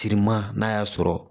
Timan n'a y'a sɔrɔ